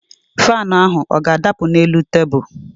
Faanụ ahụ ọ ga-adapụ n'elu tebul?